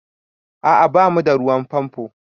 A'a ba mu da ruwan famfo